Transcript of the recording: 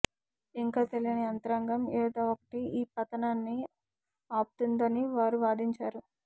ఇంకా తెలియని యంత్రాంగం ఏదో ఒకటి ఈ పతనాన్ని ఆపుతుందని వారు వాదించారు